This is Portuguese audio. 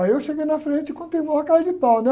Aí eu cheguei na frente e contei na maior cara de pau, né?